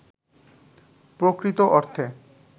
প্রকৃত অর্থে